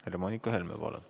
Helle-Moonika Helme, palun!